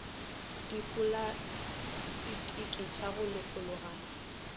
dipolastiki ya go lokologana a